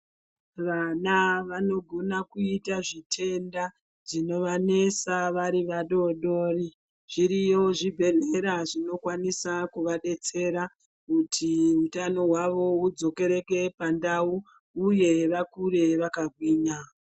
Vana vanogona kuita zvitenda zvinovanetsa vari vadodori zviriyo zvibhedhlera zvinokwanisa kuvadetsera kuti utano hwavo hwudzokereke pandau uye vakure vakagwinya .